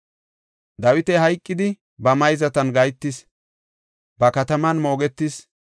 Dawiti hayqidi, ba mayzatan gahetis; ba kataman moogetis.